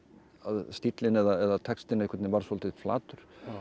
stíllinn eða textinn varð svolítið flatur